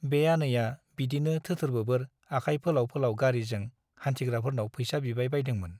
बे आनैया बिदिनो थोथोर - बोबोर आखाय फोलाव - फोलाव गारीजों हान्थिग्राफोरनाव फैसा बिबाय बायदोंमोन ।